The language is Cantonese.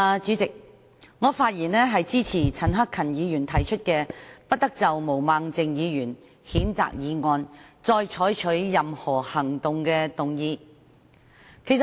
主席，我發言支持陳克勤議員提出，"不得就譴責議案再採取任何行動"的議案。